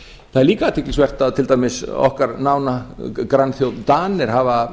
það er líka athyglisvert að til dæmis okkar nána grannþjóð danir hafa